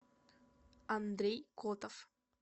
андрей котов